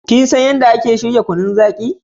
Ka san yadda ake shirya kunun zaki?